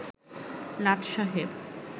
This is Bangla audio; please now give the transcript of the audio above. লাট সাহেব